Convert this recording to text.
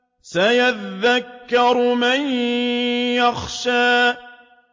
سَيَذَّكَّرُ مَن يَخْشَىٰ